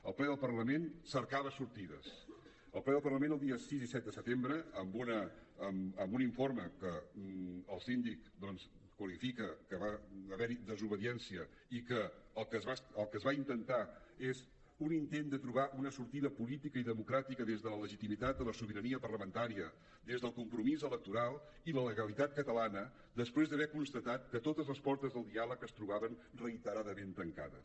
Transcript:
el ple del parlament cercava sortides el ple del parlament els dies sis i set de setembre amb un informe que el síndic doncs qualifica que va haver hi desobediència i que el que es va intentar és un intent de trobar una sortida política i democràtica des de la legitimitat de la sobirania parlamentària des del compromís electoral i la legalitat catalana després d’haver constatat que totes les portes del diàleg es trobaven reiteradament tancades